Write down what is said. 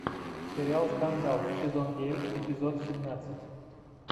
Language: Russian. сериал скандал сезон девять эпизод семнадцать